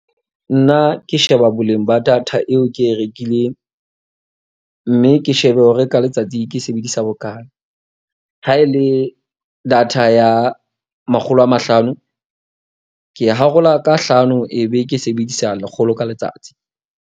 Nna ke sheba boleng ba data eo ke e rekileng. Mme ke shebe hore ka letsatsi ke sebedisa bokalo. Ha e le data ya makgolo a mahlano, ke e harola ka hlano ebe ke sebedisa lekgolo ka letsatsi.